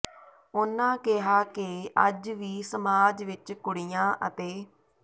ਉਨ੍ਹਾਂ ਕਿਹਾ ਕਿ ਅੱਜ ਵੀ ਸਮਾਜ ਵਿਚ ਕੁੜੀਆਂ ਅਤੇ